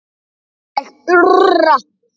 Ég urra.